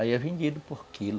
Aí é vendido por quilo.